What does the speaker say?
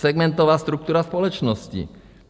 Segmentová struktura společnosti.